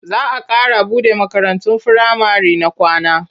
Za a ƙara buɗe makarantun firamare na kwana.